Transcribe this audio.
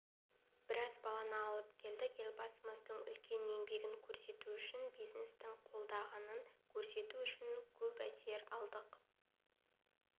біраз баланы алып келдік елбасымыздың үлкен еңбегін көрсету үшін бизнестің қолдағанын көрсету үшін көп әсер алдық